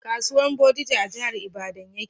Kasuwan bodija a jahar ibadan ya ke